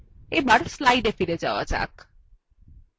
এবার slides ফিরে যাওয়া যাক